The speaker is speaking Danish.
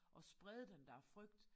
At sprede den der frygt